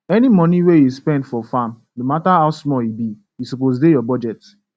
any moni wey u spend for farm no matter how small e be e suppose dey ur budget